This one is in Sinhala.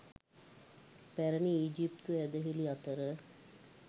පැරැණි ඊජිප්තු ඇදහිලි අතර